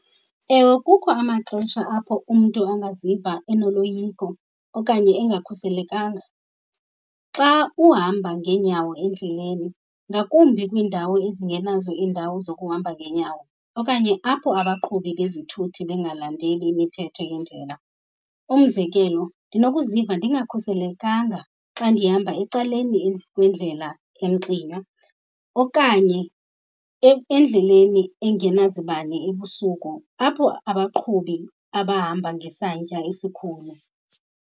Ewe, kukho amaxesha apho umntu angaziva enoloyiko okanye engakhuselekanga xa uhamba ngeenyawo endleleni, ngakumbi kwiindawo ezingenazo indawo zokuhamba ngeenyawo okanye apho abaqhubi bezithuthi bengalandeli imithetho yendlela. Umzekelo, ndinokuziva ndingakhuselekanga xa ndihamba ecaleni kwendlela emxinwa okanye endleleni engenazibane ebusuku apho abaqhubi abahamba ngesantya esikhulu.